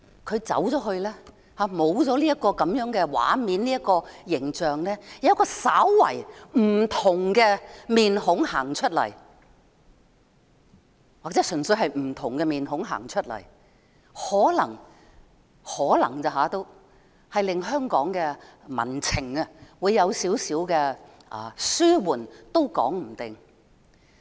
她離開後，便沒有這些畫面和形象，而有一個稍微不同的臉孔走出來，或純粹是不同的臉孔走出來，可能——只是可能——能令香港的民憤稍微紓緩，也說不定。